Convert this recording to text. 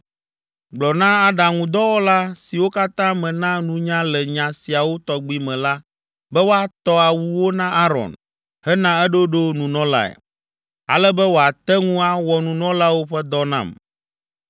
Gblɔ na aɖaŋudɔwɔla siwo katã mena nunya le nya siawo tɔgbi me la be woatɔ awuwo na Aron hena eɖoɖo nunɔlae, ale be wòate ŋu awɔ nunɔlawo ƒe dɔ nam.